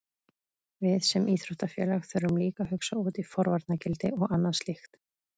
Við sem íþróttafélag þurfum líka að hugsa út í forvarnargildi og annað slíkt.